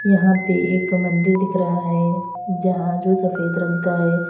यहां पर एक मंदिर दिख रहा है जहां जो सफेद रंग का है।